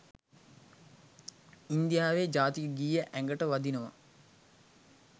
ඉන්දියාවේ ජාතික ගීය ඇගට වදිනවා